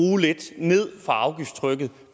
lidt ned for afgiftstrykket